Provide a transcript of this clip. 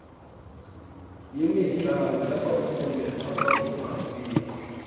yemidlalo yabafundi abakumaziko